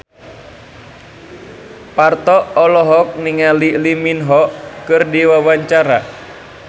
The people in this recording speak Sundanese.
Parto olohok ningali Lee Min Ho keur diwawancara